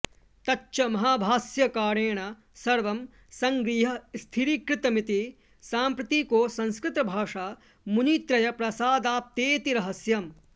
तच्च महाभाष्यकारेण सर्वं सङ्गृह्य स्थिरीकृतमिति साम्प्रतिको संस्कृतभाषा मुनित्रयप्रसादाप्तेति रहस्यम्